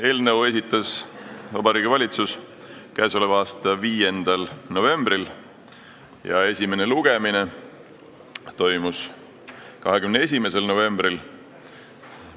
Eelnõu esitas Vabariigi Valitsus k.a 5. novembril ja esimene lugemine toimus 21. novembril.